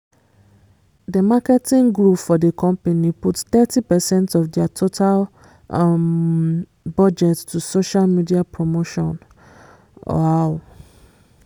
the marketing group for the company put thirty percent of their total um budget to social media promotion um